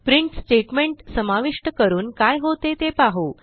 print statement समाविष्ट करून काय होते ते पाहू